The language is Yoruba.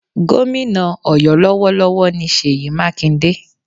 Gómìnà Ọ̀yọ́ lọ́wọ́lọ́wọ́ ni Ṣèyí Mákindé